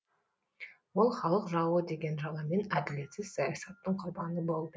ол халық жауы деген жаламен әділетсіз саясаттың құрбаны болды